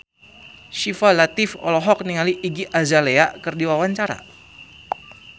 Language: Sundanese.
Syifa Latief olohok ningali Iggy Azalea keur diwawancara